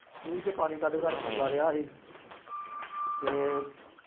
ਖੂਈ ਚੋਂ ਪਾਣੀ ਕੱਢ ਕੱਢ ਪਾਉਂਦਾ ਰਿਹਾ ਸੀ ਅਤੇ